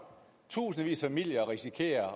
tusindvis af familier risikerer